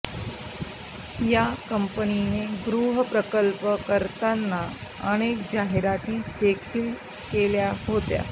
या कंपनीने गृहप्रकल्प करताना अनेक जाहिराती देखील केल्या होत्या